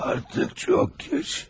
Artıq çox gec.